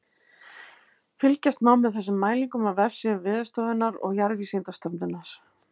Fylgjast má með þessum mælingum á vefsíðum Veðurstofunnar og Jarðvísindastofnunar.